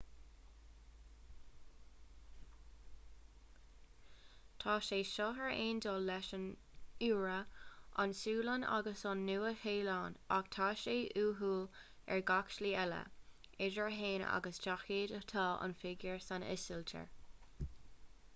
tá sé seo ar aon dul leis an iorua an tsualainn agus an nua-shéalainn ach tá sé uathúil ar gach slí eile m.sh. idir a haon agus daichead atá an figiúr san ísiltír